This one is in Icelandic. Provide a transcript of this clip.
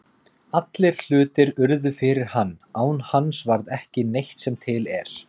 Allir hlutir urðu fyrir hann, án hans varð ekki neitt sem til er.